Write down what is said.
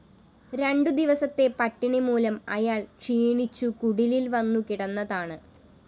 രണ്ടുദിവസത്തെ പട്ടിണി മൂലം അയാള്‍ ക്ഷീണിച്ചു കുടിലില്‍ വന്നു കിടന്നതാണ്